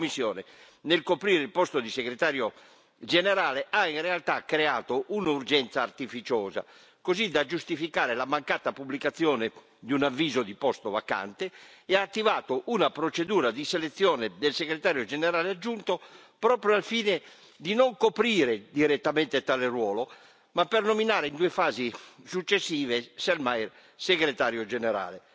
Ora vediamo quali sono i fatti la Commissione, nel coprire il posto di Segretario generale, ha in realtà creato un'urgenza artificiosa, così da giustificare la mancata pubblicazione di un avviso di posto vacante, e ha attivato una procedura di selezione del Segretario generale aggiunto proprio al fine non di coprire direttamente tale ruolo ma di nominare, in due fasi successive, il sig.